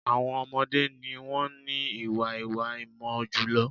Àwọn ọmọdẹ́ ni wọ́n ní ìwà ìwá-ìmọ̀ jùlọ.